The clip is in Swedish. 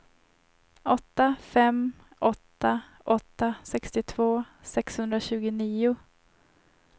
åtta fem åtta åtta sextiotvå sexhundratjugonio